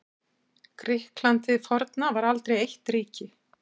Grikkland hið forna var aldrei eitt ríki.